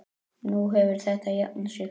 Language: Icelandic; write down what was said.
Nú hefur þetta jafnað sig.